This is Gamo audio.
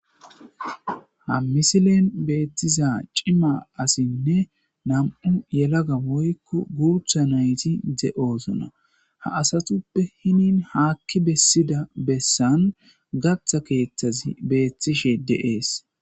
ha misilen beettiza cima asinne nam7u yelaga woykko guutha nayti de7oosona ha asatuppe hinin haakki bessida bessan gatha keeththazi beettishe deees